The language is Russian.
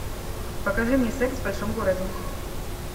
покажи мне секс в большом городе